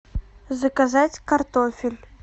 заказать картофель